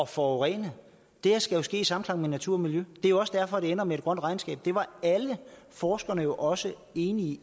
forurene det her skal jo ske i samklang med natur og miljø det er jo også derfor det ender med et grønt regnskab det var alle forskerne også enige